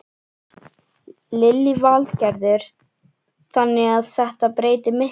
Lillý Valgerður: Þannig að þetta breytir miklu?